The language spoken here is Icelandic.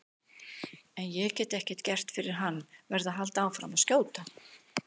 En ég get ekkert gert fyrir hann, verð að halda áfram að skjóta.